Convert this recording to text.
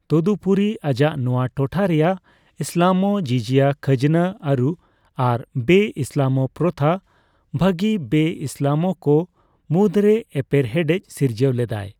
ᱛᱚᱫᱩᱯᱩᱨᱤ, ᱟᱡᱟᱜ ᱱᱚᱣᱟ ᱴᱚᱴᱷᱟ ᱨᱮᱭᱟᱜ ᱤᱥᱞᱟᱢᱚᱜᱽ, ᱡᱤᱡᱤᱭᱟ ᱠᱷᱟᱡᱽᱱᱟ ᱟᱹᱨᱩ ᱟᱨ ᱵᱮᱼᱤᱥᱞᱟᱢᱚᱜ ᱯᱨᱚᱛᱷᱟ ᱵᱟᱹᱜᱮ ᱵᱮᱼᱢᱩᱥᱞᱤᱢᱠᱚ ᱢᱩᱫᱽᱨᱮ ᱮᱯᱮᱨ ᱦᱮᱸᱰᱮᱡᱽ ᱥᱤᱨᱡᱟᱹᱣ ᱞᱮᱫᱟᱭ ᱾